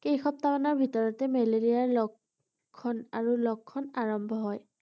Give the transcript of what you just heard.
কেইসপ্তাহমানৰ ভিতৰতেই মেলেৰিয়াৰ লক্ষণ আৰু লক্ষণ আৰম্ভ হয় ৷